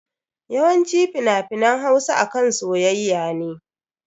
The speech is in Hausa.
Yawanci fina-finan Hausa akan soyayya ne.